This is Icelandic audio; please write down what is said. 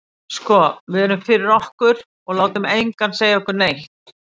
Sko við erum fyrir okkur, og látum engan segja okkur neitt.